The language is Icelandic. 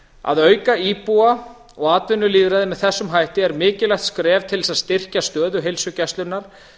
að auka íbúa og atvinnulýðræði með þessum hætti er mikilvægt skref til þess að styrkja stöðu heilsugæslunnar